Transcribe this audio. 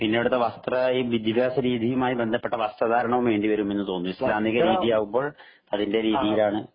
പിന്നെ അവിടത്തെ വസ്ത്ര ഈ വിദ്യാഭ്യാസരീതിയുമായി ബന്ധപ്പെട്ട വസ്ത്രധാരണവും വേണ്ടിവരുമെന്ന് തോന്നി. ഈസ്‌ലാമിക രീതിയാകുമ്പോള്‍ അതിന്‍റെ രീതിയിലാണ്‌